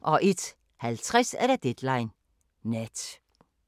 01:50: Deadline Nat